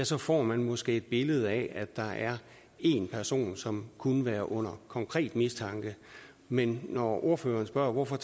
så får man måske et billede af at der er en person som kunne være under konkret mistanke men når ordføreren spørger hvorfor